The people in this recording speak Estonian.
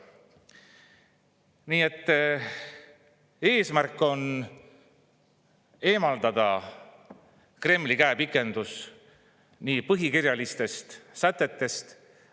Nii et eesmärk on eemaldada Kremli käepikendus põhikirjalistest sätetest.